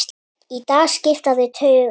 Í dag skipta þau tugum.